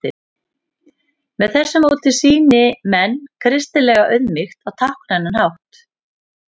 með þessu móti sýni menn kristilega auðmýkt á táknrænan hátt